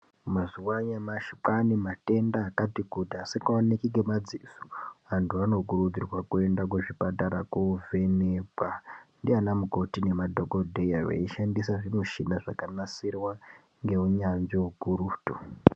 Mazuwa anyamashi kwane matenda akati kuti asikaoneki ngemadziso. Antu anokurudzirwa kuenda kuzvipatara kovhenekwa ndiana mukoti nemadhokodheya veiishandisa zvimushina zvakanasirwa ngeunyanzvi ukurutu.